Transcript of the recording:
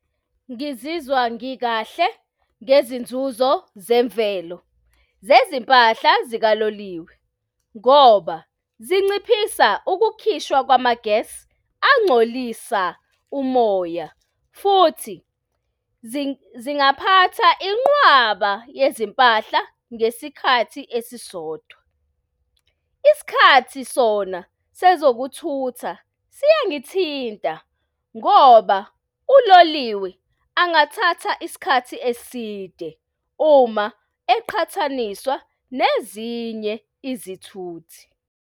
Ngizizwa ngikahle ngezinzuzo zemvelo zezimpahla zikaloliwe ngoba zinciphisa ukukhishwa kwama gass angcolisa umoya. Futhi zingathatha inqwaba yezimpahla ngesikhathi esisodwa. Isikhathi sona sezokuthumela siyangithinta ngoba uloliwe angathatha isikhathi eside uma eqhathaniswa nezinye izithuthi.